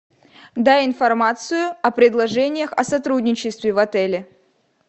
дай информацию о предложениях о сотрудничестве в отеле